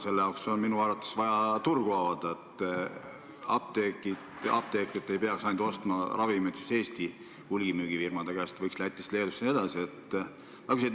Selle jaoks on minu arvates vaja turgu avada, nii et apteekrid ei peaks ravimeid ostma ainult Eesti hulgimüügifirmade käest, vaid võiks neid tuua ka Lätist, Leedust ja mujalt.